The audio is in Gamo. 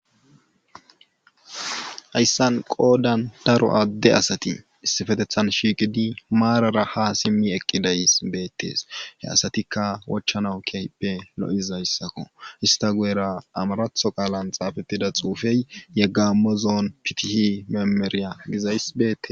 Hayssan qoodan daro adde asati issippetethan shiiqi eqqidi maarara ha simmi eqqidayssi betees. He asatikka wochanawu keehippe lo'izayssakko.ista guyera amaratho qaalan xaafetida xuufe yegamo zoon fitih memeriya gizayssi beetees.